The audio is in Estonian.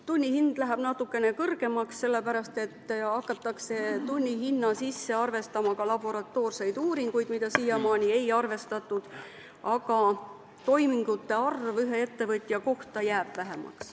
Tunnihind läheb natukene kõrgemaks sellepärast, et tunnihinna sisse hakatakse arvestama ka laboratoorseid uuringuid, mida siiamaani ei arvestatud, aga toimingute arv ühe ettevõtja kohta jääb väiksemaks.